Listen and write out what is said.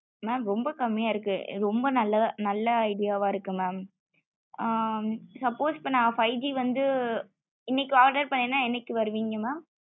mam ரொம்ப கம்மிய இருக்கு ரொம்ப நல்ல idea வ இருக்கு mam ஆ suppose இப்போ நா five G வந்து இன்னைக்கு order பண்ணேன என்னைக்கு வருவீங்க mam